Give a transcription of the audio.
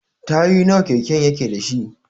Tayoyi nawa keken yake dashi?